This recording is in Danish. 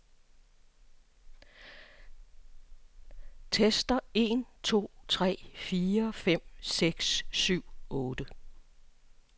Tester en to tre fire fem seks syv otte.